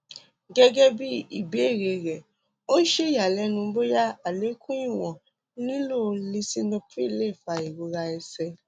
gẹ́gẹ́ bí ìbéèrè rẹ̀ ó ṣe ìyàlẹ́nu bóyá àlékún ìwọ̀n lilò lisinopril fa ìrora ní ẹsẹ̀